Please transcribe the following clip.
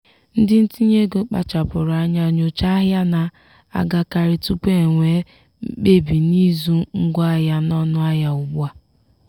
ndị ntinye ego kpachapụrụ anya nyochaa ahịa na-agakarị tupu e nwee mkpebi n'ịzụ ngwaahịa n'ọnụahịa ugbu a.